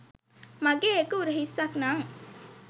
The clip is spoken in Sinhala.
මගේ එක උරහිස්සක් නං